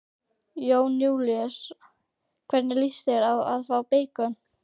Jón Júlíus: Hvernig lýst þér á að fá beikon?